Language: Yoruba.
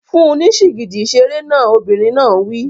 Fún un ní sìgìdì ìṣeré náà! Obìnrin náà wí.